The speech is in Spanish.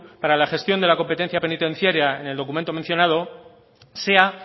para la gestión de la competencia penitencia en el documento mencionado sea